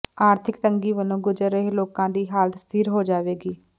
ਆਰਥਕ ਤੰਗੀ ਵਲੋਂ ਗੁਜ਼ਰ ਰਹੇ ਲੋਕਾਂ ਦੀ ਹਾਲਤ ਸਥਿਰ ਹੋ ਜਾਵੇਗੀ